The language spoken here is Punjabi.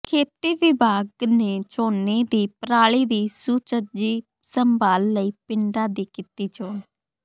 ਖੇਤੀ ਵਿਭਾਗ ਨੇ ਝੋਨੇ ਦੀ ਪਰਾਲੀ ਦੀ ਸੁਚੱਜੀ ਸੰਭਾਲ ਲਈ ਪਿੰਡਾਂ ਦੀ ਕੀਤੀ ਚੋਣ